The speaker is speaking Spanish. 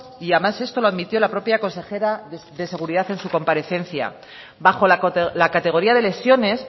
y además esto lo admitió la propia consejera de seguridad en su comparecencia bajo la categoría de lesiones